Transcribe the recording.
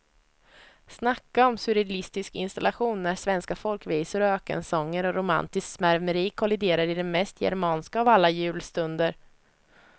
Snacka om surrealistisk installation när svenska folkvisor och ökensånger och romantiskt svärmeri kolliderar i den mest germanska av alla julstunder.